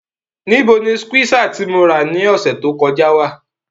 Nibo ni skweesa ti mo ra ni ọsẹ to kọja wa?